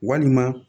Walima